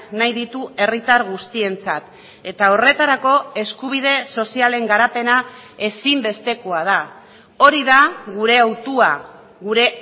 nahi ditu herritar guztientzat eta horretarako eskubide sozialen garapena ezinbestekoa da hori da gure hautua gure